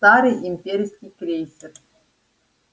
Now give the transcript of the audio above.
старый имперский крейсер